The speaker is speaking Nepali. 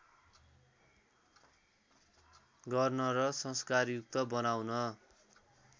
गर्न र संस्कारयुक्त बनाउन